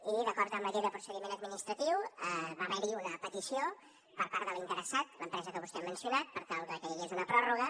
i d’acord amb la llei de procediment administratiu va haver hi una petició per part de l’interessat l’empresa que vostè ha mencionat per tal que hi hagués una pròrroga